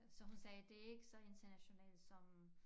Så hun sagde det ikke så internationalt som